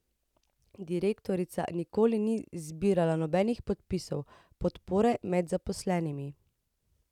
Direktorica nikoli ni zbirala nobenih podpisov podpore med zaposlenimi.